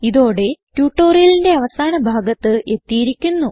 ഇതോടെ ട്യൂട്ടോറിയലിന്റെ അവസാന ഭാഗത്ത് എത്തിയിരിക്കുന്നു